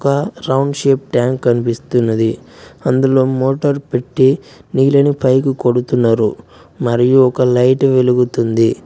అక్కడ round shape tank కనిపిస్తున్నది అందులో మోటర్ పెట్టి నీళ్ళని పైకి కొడుతున్నరు మరియు ఒక లైట్ వెలుగుతుంది.